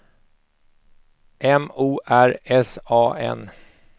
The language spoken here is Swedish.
M O R S A N